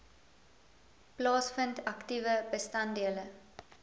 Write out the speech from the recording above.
plaasvind aktiewe bestanddele